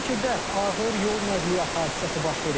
Şəmkirdə ağır yol nəqliyyat hadisəsi baş verib.